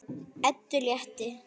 Eddu létti.